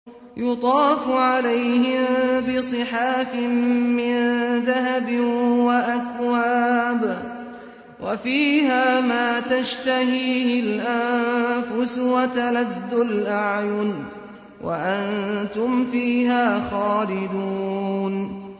يُطَافُ عَلَيْهِم بِصِحَافٍ مِّن ذَهَبٍ وَأَكْوَابٍ ۖ وَفِيهَا مَا تَشْتَهِيهِ الْأَنفُسُ وَتَلَذُّ الْأَعْيُنُ ۖ وَأَنتُمْ فِيهَا خَالِدُونَ